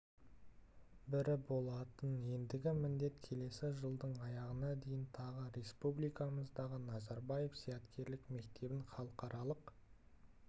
бірі болатын ендігі міндет келесі жылдың аяғына дейін тағы да республикамыздағы назарбаев зияткерлік мектебін халықаралық